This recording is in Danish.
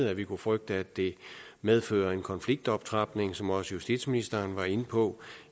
at vi kunne frygte at det medfører en konfliktoptrapning som også justitsministeren var inde på